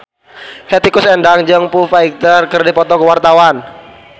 Hetty Koes Endang jeung Foo Fighter keur dipoto ku wartawan